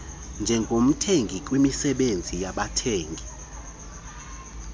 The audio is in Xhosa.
njengomthengi kwimisebenzi yabathengi